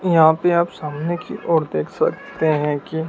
यहां पे आप सामने की ओर देख सकते हैं कि--